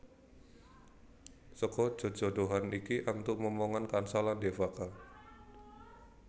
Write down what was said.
Seka jejodhoan iki antuk momongan kansa lan Devaka